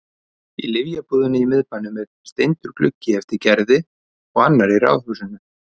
Í lyfjabúðinni í miðbænum er steindur gluggi eftir Gerði og annar í ráðhúsinu.